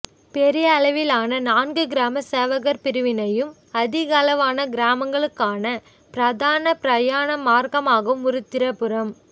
பெரியளவிலான நான்கு கிராம சேவகர் பிரிவினையும் அதிகளவான கிராமங்களுக்கான பிரதான பிரயாண மார்க்கமாகவும் உருத்திரபுரம்